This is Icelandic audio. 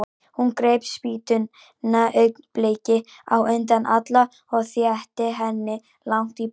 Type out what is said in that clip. Hún greip spýtuna augnabliki á undan Alla og þeytti henni langt í burtu.